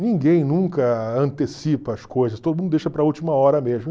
Ninguém nunca antecipa as coisas, todo mundo deixa para a última hora mesmo.